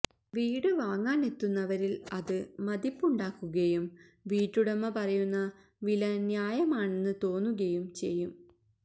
വീട് വാങ്ങാനെത്തുന്നവരില് അത് മതിപ്പുണ്ടാക്കുകയും വീട്ടുടമ പറയുന്ന വില ന്യായമാണെന്ന് തോന്നുകയും ചെയ്യും